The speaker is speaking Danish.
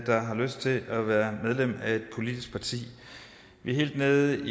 der har lyst til at være medlem af et politisk parti vi er helt nede